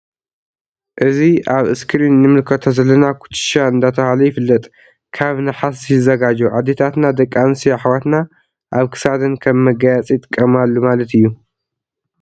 እዚ አብ እስክርን እንምልከቶ ዘለና ኩትሻ ዳተብሃለ ይፍለጥ ::ካብ ነሃስ ይዘጋጆ አደታትና ደቂ አንስትዮ አሕዋትና አብ ክሳደን ከም መጋየፂ ይጥቀማሉ ማለት እዩ::